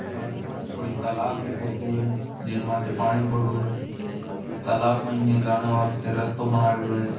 या कोई तालाब री फोटो है जिणमाते पानी पडो है तालाब में जाने बास्ते रास्तो बनाएड़ो है।